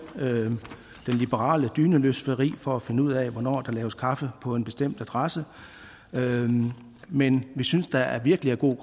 det liberale dyneløfteri for at finde ud af hvornår der laves kaffe på en bestemt adresse men vi synes der er virkelig god